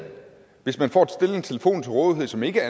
hvis man får stillet en telefon til rådighed som ikke